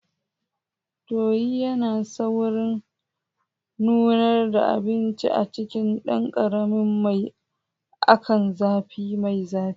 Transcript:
Tuyi yana saurin nunar da abinci a cikin ɗan ƙaramin mai akan zafi mai zafi.